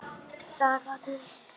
Það gátum við.